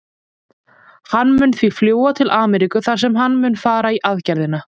Hann mun því fljúga til Ameríku þar sem hann mun fara í aðgerðina.